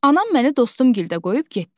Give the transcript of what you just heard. Anam məni dostum gildə qoyub getdi.